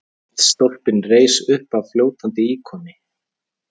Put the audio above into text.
Eldstólpinn reis uppaf fljótandi íkoni.